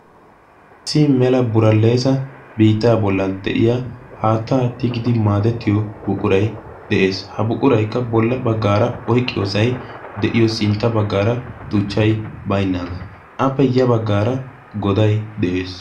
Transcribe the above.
issii mela buraleesa biittaa bollan de7iya haattaa tigidi maadettiyo buqurai de7ees ha buquraikka bolla baggaara oiqqiyoosai de7iyo sintta baggaara tuchchai bainnaagaa appe ya baggaara godai de7ees